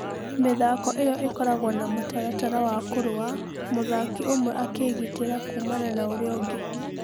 Mĩthako ĩyo ĩkoragwo na mũtaratara wa kũrũa, mũthaki ũmwe akĩgitira kuumana na na ũrĩa ũngĩ.